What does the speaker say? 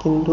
কিন্তু